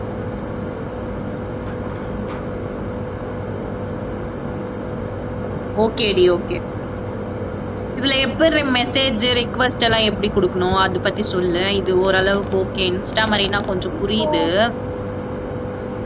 okay டி okay இதுல எப்பட்ரி message request எல்லாம் எப்படி கொடுக்கணும் அதைப் பத்தி சொல்லு இது ஓரளவுக்கு okay Insta மாதிரின்னா கொஞ்சம் புரியுது